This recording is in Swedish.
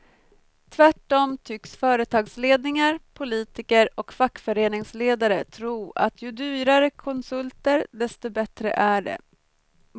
Tvärtom tycks företagsledningar, politiker och fackföreningsledare tro att ju dyrare konsulter desto bättre är det.